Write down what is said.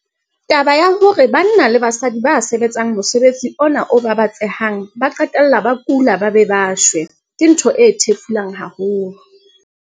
Taba ya hore banna le basadi ba sebetsang mosebetsi ona o babatsehang ba qetella ba kula ba be ba shwe, ke ntho e thefulang haholo.